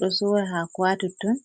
ɗo sora haako ha totton.